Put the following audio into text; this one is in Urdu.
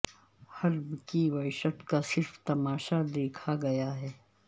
حلب کی وحشت کا صرف تماشا دیکھا گیا ہے